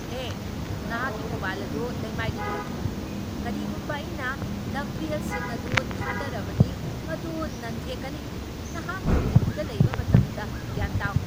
ꯍꯦ ꯅꯍꯥꯛꯀꯤ ꯃꯣꯕꯥꯏꯜ ꯑꯗꯨ ꯂꯩꯃꯥꯏꯗꯒꯤ ꯂꯧꯊꯣꯛꯎ, ꯀꯔꯤꯒꯨꯝꯕ ꯑꯩꯅ ꯗꯝꯕꯦꯜꯁꯤꯡ ꯑꯗꯨ ꯊꯥꯗꯔꯕꯗꯤ ꯃꯗꯨ ꯅꯟꯊꯦꯛꯀꯅꯤ, ꯅꯍꯥꯛꯅ ꯖꯤꯝꯗ ꯂꯩꯕ ꯃꯇꯝꯗ ꯚ꯭ꯌꯥꯟ ꯇꯥꯎ꯫